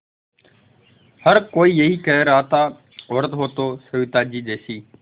हर कोई यही कह रहा था औरत हो तो सविताजी जैसी